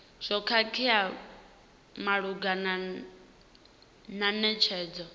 zwo khakheaho malugana na netshedzo